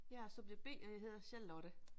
Jeg er subjekt B, og jeg hedder Charlotte.